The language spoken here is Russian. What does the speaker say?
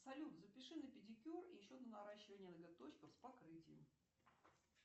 салют запиши на педикюр и еще на наращивание ноготочков с покрытием